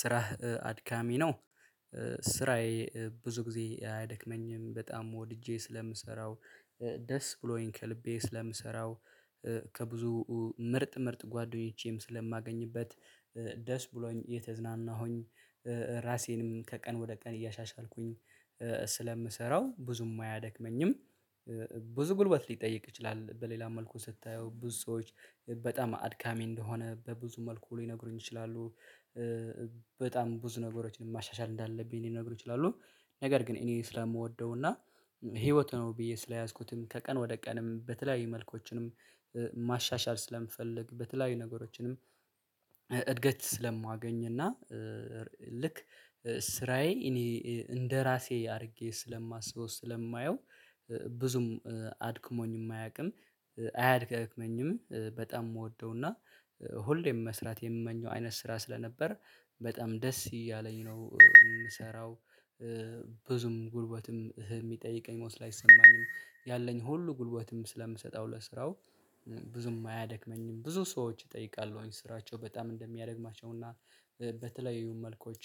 ስራህ አድካሚ ነው። ስራዬ ብዙ ጊዜ አያደክመኝም በጣም ወድጄ ስለምሰራው ደስ ብሎኝ ከልቤ ስለምሰራው ከብዙ ምርጥ ምርጥ ጓደኞቼም ስለማገኝበት ደስ ብሎኝ እየተዝናናሁኝ ራሴንም ከቀን ወደ ቀን እያሻሻልኩኝ ስለምሰራው ብዙም አያደክመኝም። ብዙ ጉልበት ሊጠይቅ ይችላል በሌላ መልኩ ስታየው ብዙ ሰዎች በጣም አድካሚ እንደሆነ በብዙ መልኩ ሊነግሩኝ ይችላሉ። በጣም ብዙ ነገሮችን ማሻሻል እንዳለብኝ ሌነግሮክ ይችላሉ። ነገር ግን እኔ ስለምወደው እና ህይወት ነው ብዬ ስለያዝኩትም ከቀን ወደ ቀንም በተለያዩ መልኮችንም ማሻሻል ስለምፈልግ በተለያዩ ነገሮችንም እድገት ስለማገኝ እና ልክ ስራዬ እኔ እንደራሴ አድርጌ ስለማስበው ስለማየው ብዙም አድክሞኝ የማያውቅም አያደጋግመኝም በጣም የምወደው እና ሁሌም መስራት የምመኘው አይነት ስራ ስለነበር በጣም ደስ እያለኝ ነው የምሰራው። ብዙም ጉልበትም ይጠይቀኝ ለስራው አይሰማኝም ያለኝ ሁሉ ጉልበትም ስለምሰጠው ለስራው ብዙም አያደክመኝም። ብዙ ሰዎች እጠይቃለሁ ስራቸው በጣም እንደሚያደርግማቸውና በተለያዩ መልኮች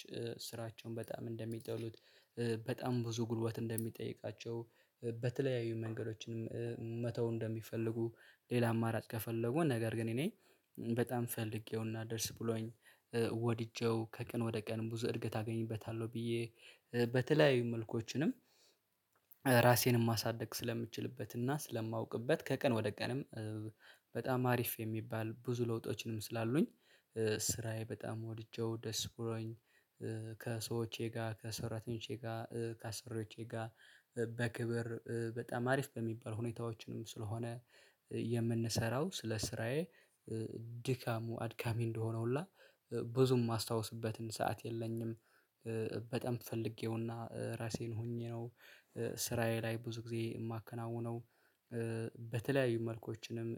ስራቸውን በጣም እንደሚጠሉት። በጣም ብዙ ጉልበት እንደሚጠይቃቸው በተለያዩ መንገዶችንም መተው እንደሚፈልጉ ሌላ አማራጭ ከፈለጉ ነገር ግን እኔ በጣም ፈልጌውና ደስ ብሎኝ። ወድጄው ከቀን ወደ ቀን ብዙ እድገት አገኝበታለሁ ብዬ በተለያዩ መልኮችንም ራሴንም ማሳደግ ስለምችልበትና ስለማውቅበት ከቀን ወደ ቀንም በጣም አሪፍ የሚባል ብዙ ለውጦችንም ስላሉኝ ስራዬ በጣም ወድጄው ደስ ብሎኝ። ከሰዎቼ ጋር ከሰራተኞቼ ከአሰሪዎቼጋ በክብር በጣም አሪፍ በሚባል ሁኔታዎችንም ስለሆነ የምንሰራው ስለ ስራዬ ድካሙ አድካሚ እንደሆነ ሁላ ብዙም የማስታውስበትን ሰዓት የለኝም። በጣም ፈልጌውና ራሴን ሆኜ ነው ስራዬ ላይ ብዙ ጊዜ የማከናዉነው በተለያዩ መልኮችንም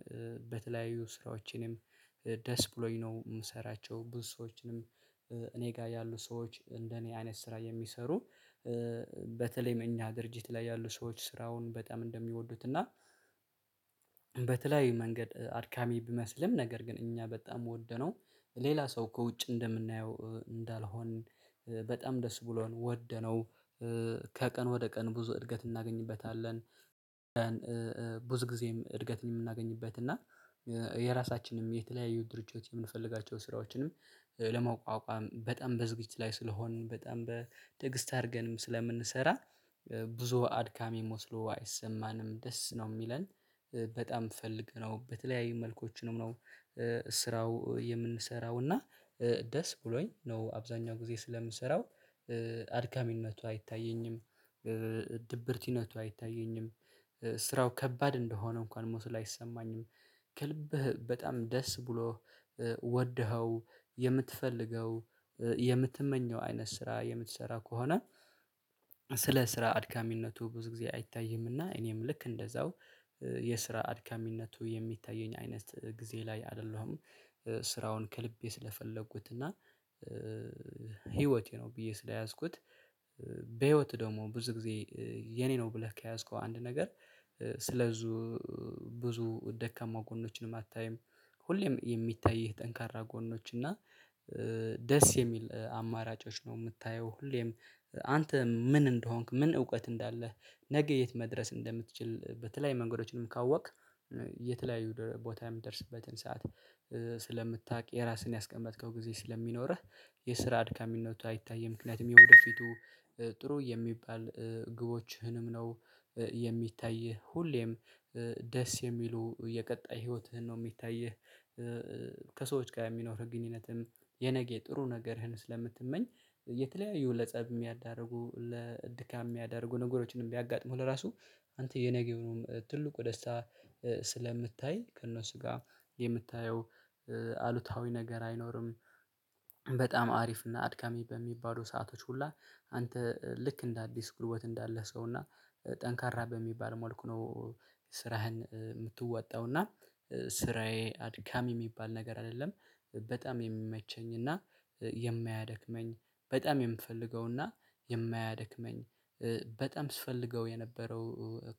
በተለያዩ ስራዎችንም ደስ ብሎኝ ነው። የምሰራቸው ብዙ ሰዎችንም እኔ ጋር ያሉ ሰዎች እንደ እኔ አይነት ስራ የሚሰሩ። በተለይም እኛ ድርጅት ላይ ያሉ ሰዎች ስራውን በጣም እንደሚወዱት እና በተለይ መንገድ አድካሚ ቢመስልም ነገር ግን እኛ በጣም የምወደነው ሌላ ሰው ከውጭ እንደምናየው እንዳልሆን በጣም ደስ ብሎን ወደነው ከቀን ወደ ቀን ብዙ እድገት እናገኝበታለን። ብዙ ጊዜም እድገትን የምናገኝበት እና የራሳችንም የተለያዩ ድርጅቶች የምንፈልጋቸውን ስራዎችንም ለማቋቋም በጣም በዝግጅት ላይ ስለሆንን በጣም ትግእስት አድርገንም ስለምንሰራ ብዙ አድካሚ ሞስሎ አይሰማንም ደስ ነው የሚለን። በጣም ፈልገነው በተለያዩ መልኮችንም ነው ስራው የምንሰራው እና ደስ ብሎኝ ነው አብዛኛው ጊዜ ስለምሰራው አድካሚነቱ አይታየኝም። ድብርቲነቱ አይታየኝም። ስራው ከባድ እንደሆነ እንኳን ሞስል አይሰማኝም። ከልብህ በጣም ደስ ብሎ ወደኸው የምትፈልገው የምትመኘው አይነት ስራ የምትሰራ ከሆነ። ስለ ስራ አድካሚነቱ ብዙ ጊዜ አይታይምና እኔም ልክ እንደዛው የስራ አድካሚነቱ የሚታየኝ አይነት ጊዜ ላይ አይደለሁም። ስራውን ከልቤ ስለፈለጉት እና ህይወቴ ነው ብዬ ስለያዝኩት። በህይወት ደግሞ ብዙ ጊዜ የኔ ነው ብለህ ከያዝከው አንድ ነገር ስለብዙ ብዙ ደካማው ጎኖችን አታይም። ሁሌም የሚታይህ ጠንካራ ጎኖች እና ደስ የሚል አማራጮች ነው። የምታየው ሁሌም አንተ ምን እንደሆንክ ምን እውቀት እንዳለህ ነገ የት መድረስ እንደምትችል በተለይ መንገዶችንም ካወቅክ እየተለያዩ ቦታ የምትደርስበትን ሰዓት ስለምታውቅ የራስህን ያስቀመጥከው ጊዜ ስለሚኖርህ የስራ አድካሚነቱ አይታይም። ምክንያቱም የወደፊቱ ጥሩ የሚባል ግቦችህንም ነው የሚታይህ ሁሌም ደስ የሚሉ የቀጣይ ህይወትህን ነው የሚታይህ። ከሰዎች ጋር የሚኖርህ ግንኙነትም የነገ ጥሩ ነገርህን ስለምትመኝ የተለያዩ ለፀብ የሚያዳርጉ ለድካም ያዳርጉ ነገሮችንም ቢያጋጥሙ ለራሱ አንተ የነገው ነው ትልቁ ደስታ ስለምታይ ከእነሱ ጋር የምታየው አሉታዊ ነገር አይኖርም። በጣም አሪፍ እና አድካሚ በሚባሉ ሰአቶች ሁላ አንተ ልክ እንደ አዲስ ጉልበት እንዳለህ ሰው እና ጠንካራ በሚባል መልኩ ነው። ስራህን የምትወጣውና ስራዬ አድካሚ የሚባል ነገር አይደለም። በጣም የሚመቸኝ እና የማያደክመኝ በጣም የምፈልገው እና የማያደክመኝ። በጣም ስፈልገው የነበረው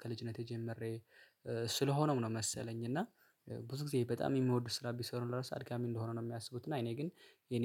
ከልጅነቴ ጀምሬ ስለሆነውም ነው። መሰለኝ እና ብዙ ጊዜ በጣም የሚወዱ ስራ ቢሰሩ ለራሱ አድጋሚ እንደሆነ ነው የሚያስቡት እና እኔ ግን የኔ